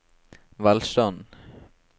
velstanden